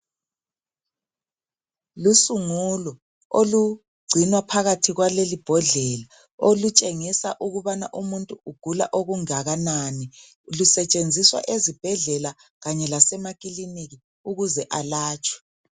Lusungulo olugcinwa phakathi kwale imbodlela .Olutshengisa ukubana umuntu ugula okungakanani Lusetshenziswa ezibhedlela kanye lase makilinika ukuze alatshwe .